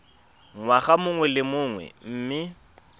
ngwaga mongwe le mongwe mme